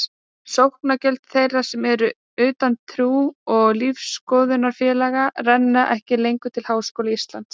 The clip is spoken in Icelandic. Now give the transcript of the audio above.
Sóknargjöld þeirra sem eru utan trú- og lífsskoðunarfélaga renna ekki lengur til Háskóla Íslands.